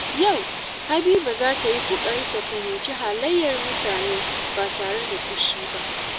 Yau, Habiba za ta yi ƙoƙari ta fahimci halayyar mutane ba tare da fushi ba.